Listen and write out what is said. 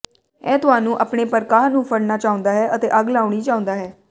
ਇਹ ਤੁਹਾਨੂੰ ਆਪਣੇ ਪਾਰਕਾਹ ਨੂੰ ਫੜਨਾ ਚਾਹੁੰਦਾ ਹੈ ਅਤੇ ਅੱਗ ਲਾਉਣੀ ਚਾਹੁੰਦਾ ਹੈ